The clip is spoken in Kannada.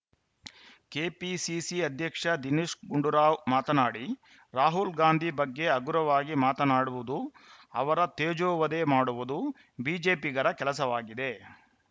ಕೆಪಿಸಿಸಿ ಅಧ್ಯಕ್ಷ ದಿನೇಶ್‌ ಗುಂಡೂರಾವ್‌ ಮಾತನಾಡಿ ರಾಹುಲ್‌ ಗಾಂಧಿ ಬಗ್ಗೆ ಹಗುರವಾಗಿ ಮಾತನಾಡುವುದು ಅವರ ತೇಜೋವಧೆ ಮಾಡುವುದು ಬಿಜೆಪಿಗರ ಕೆಲಸವಾಗಿದೆ